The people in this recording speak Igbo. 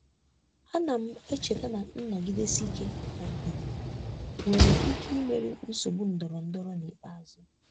Ana m echeta na nnọgidesi ike na ndidi nwere ike imeri nsogbu ndọrọndọrọ n'ikpeazụ.